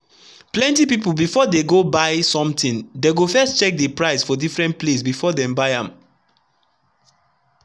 plenty people before the go buy somethingdey go first check the price for different placebefore dem buy am.